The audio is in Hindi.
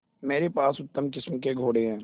मेरे पास उत्तम किस्म के घोड़े हैं